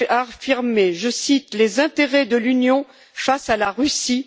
réaffirmer je cite les intérêts de l'Union face à la Russie.